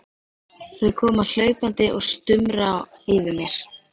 Þau koma hlaupandi og stumra yfir mér.